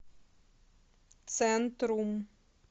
центрум